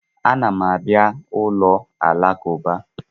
A na m abịa ụlọ alakụba.